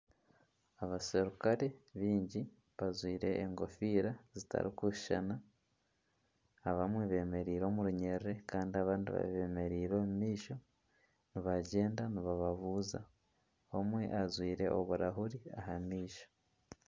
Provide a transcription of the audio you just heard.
Abasirikare baingi bajwire enkofiira zitari kushushana abamwe bememeire omu runyiriri Kandi abandi babemereire omu maisho nibagyenda nibababuuza omwe ajwire oburahuri aha maisho.